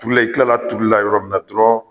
Turulen i tila la a turuli la yɔrɔ min na dɔrɔnw